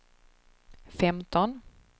femton